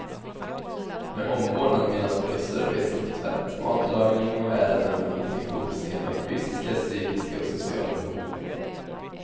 Med omvårdnad menas både service som tvätt, matlagning och ärenden och tillgodoseende av fysiska, psykiska och sociala behov.